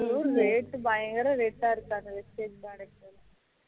rate பயங்கர rate ஆ இருக்காம் அந்த vistage product